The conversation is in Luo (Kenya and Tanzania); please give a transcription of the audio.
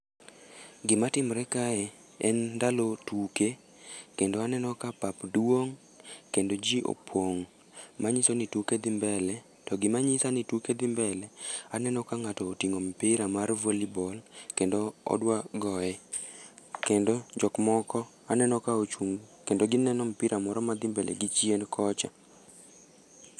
Gima timre kae, en ndalo tuke, kendo aneno ka pap duong' kendo ji opong'. Manyiso ni tuke dhi mbele. To gima nyisa ni tuke dhi mbele, aneno ka ngáto otingó mpira mar volley ball, kendo odwa goye. Kendo jok moko aneno ka ochung', kendo gineno mpira moro madhi mbele gi chien kocha.